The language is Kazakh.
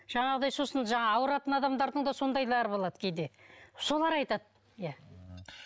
жаңағыдай сосын жаңағы ауыратын адамдардың сондайлары да болады кейде солар айтады иә